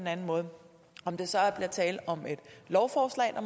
anden måde om der så bliver tale om et lovforslag